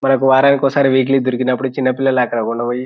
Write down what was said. మనకి వారానికొకసారి వీక్లీ దొరికినపుడు చిన్న పిల్ల ల --